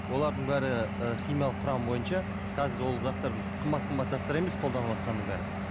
олардың бәрі і химиялық құрамы бойынша қазір ол заттар біз қымбат қымбат заттар емес қолданыватқанның бәрі